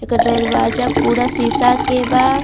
एकर दरवाजा पूरा शीशा के बा।